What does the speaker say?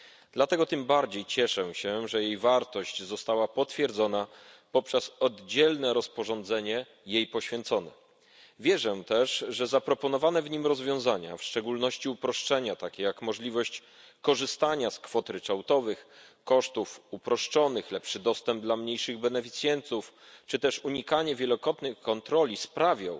Dlatego tym bardziej cieszę się, że jej wartość została potwierdzona poprzez oddzielne rozporządzenie jej poświęcone. Wierzę też, że zaproponowane w nim rozwiązania, w szczególności uproszczenia, takie jak możliwość korzystania z kwot ryczałtowych, kosztów uproszczonych, lepszy dostęp dla mniejszych beneficjentów czy też unikanie wielokrotnych kontroli, sprawią,